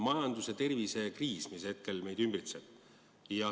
Meid ümbritseb majandus- ja tervisekriis.